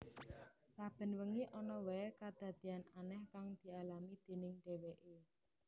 Saben wengi ana wae kadadeyan aneh kang dialami déning dheweke